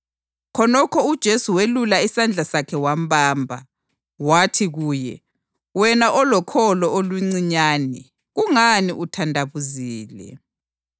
Khonokho uJesu welula isandla sakhe wambamba. Wathi kuye, “Wena olokholo oluncinyane, kungani uthandabuzile?”